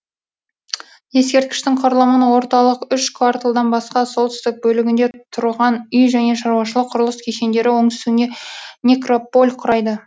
ескерткіштің құрылымын орталық үш кварталдан басқа солтүстік бөлігінде тұрған үй және шаруашылық құрылыс кешендері оңтүстігінде некрополь құрайды